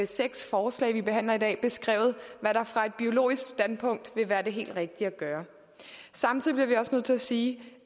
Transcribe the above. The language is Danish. seks forslag vi behandler i dag beskrevet hvad der fra et biologisk standpunkt vil være det helt rigtige at gøre samtidig bliver vi også nødt til at sige